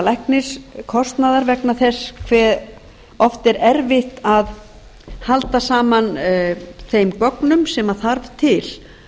lækniskostnaðar vegna þess hve oft er erfitt að halda saman þeim gögnum sem þarf til